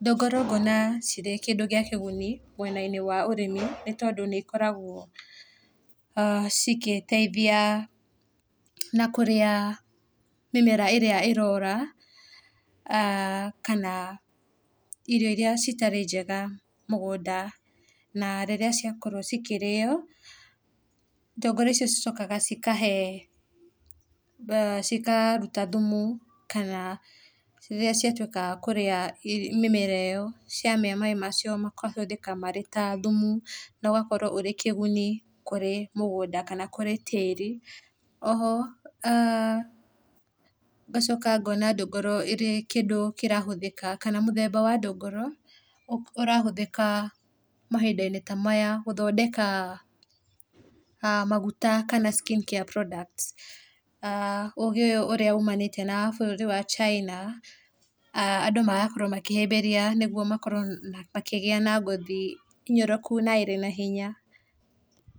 ndũngũrũ ngũona cirĩ indo cia kĩguni mwena-inĩ wa ũrĩmi tondũ nĩikoragwo cigĩteithia na kũrĩa mĩmera ĩrĩa irora, kana irio iria citarĩ njega mũgũnda na rĩrĩa ciakorwo cĩkĩrĩo, ndũngũrũ icokaga cikahe cikaruta thumu kana rĩrĩa ciatwĩka kũrĩa mĩmera iyo ciamĩa mai macio makahũthĩka marĩ ta thumu na ũgakorwo ũrĩ kĩguni kũrĩ mũgũnda kana kũrĩ tĩri. Oho ngacoka ngona ndũngũrũ ĩrĩ kĩndũ kĩrahũthĩka kana mũthemba wa ndũngũrũ ũrahũthĩka mahinda-inĩ ta maya gũthondeka maguta kana skin care products. Ũgĩ ũyũ ũrĩa umanĩte na bũrũri wa China, andũ magakorwo makĩhĩmbĩria nĩgũo makorwo makigĩa na ngothi nyoroku na ĩrĩ na hinya.